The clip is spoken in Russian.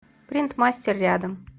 принт мастер рядом